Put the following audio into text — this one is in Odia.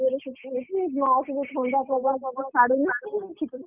ଜୋରେ ଶୀତ ହଉଛି ମାଆକୁ ବି ଥଣ୍ଡା ପ୍ରବଳ ଜୋରେ ଛାଡ଼ୁନି ଆଉ ଶୀତ ଯୋଗୁଁରୁ